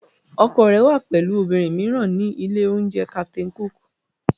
Ọkọ rẹ wà pẹ̀lú obìnrin mìíràn ní ilé-oúnjẹ Captain Cook